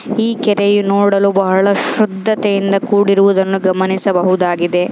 ಈ ಕೆರೆ ನೋಡಲು ಬಹಳ ಶುದ್ಧತೆಯಿಂದ ಕೂಡಿರುವುದನ್ನು ಗಮನಿಸಬಹುದುಗಿದೆ.